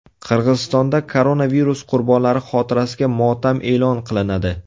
Qirg‘izistonda koronavirus qurbonlari xotirasiga motam e’lon qilinadi.